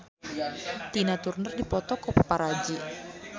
Tina Turner dipoto ku paparazi